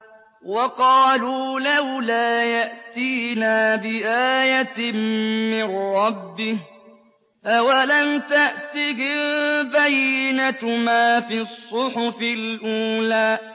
وَقَالُوا لَوْلَا يَأْتِينَا بِآيَةٍ مِّن رَّبِّهِ ۚ أَوَلَمْ تَأْتِهِم بَيِّنَةُ مَا فِي الصُّحُفِ الْأُولَىٰ